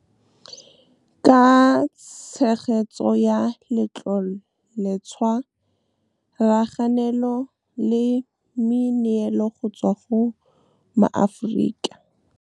Ka tshegetso ya Letloletshwa raganelo le meneelo go tswa go maAforika. Ka tshegetso ya Letloletshwa raganelo le meneelo go tswa go maAforika.